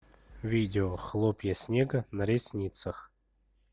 видео хлопья снега на ресницах